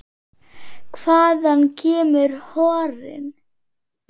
Hvaðan kemur horinn?